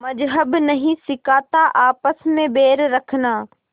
मज़्हब नहीं सिखाता आपस में बैर रखना